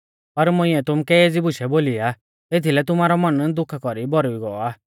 पर मुंइऐ तुमुकै एज़ी बुशै बोली आ एथीलै तुमारौ मन दुखा कौरीऐ भौरुई गौ आ